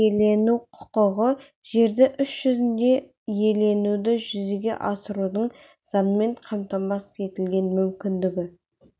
жер иелену құқығы жерді іс жүзінде иеленуді жүзеге асырудың заңмен қамтамасыз етілген мүмкіндігі